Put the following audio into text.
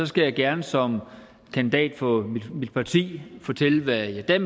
skal jeg gerne som kandidat for mit parti fortælle hvad jeg